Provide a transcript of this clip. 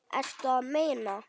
Ertu að meina.